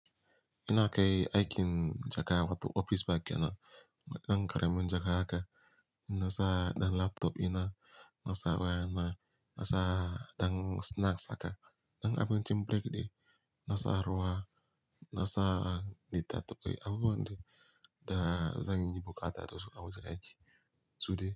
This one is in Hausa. Ina kai aikin jaka wato ofis bag yana. Dan kare min jaka haka. Na sa ɗan laptop ina, na sa waya na, na sa ɗan snacks haka. Dan abin cin break dai. Na sa ruwa, na sa lita taɓai, abubuwan da zanyi bukata da su a wajen aiki su dai.